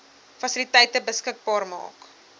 fasiliteite beskikbaar maak